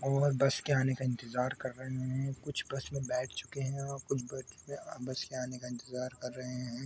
और बस के आने का इंतज़ार कर रहे है कुछ बस में बैठ चुके है और कुछ बच पे अ बस के आने का इंतज़ार कर रहे है।